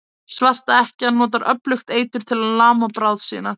Svarta ekkjan notar öflugt eitur til að lama bráð sína.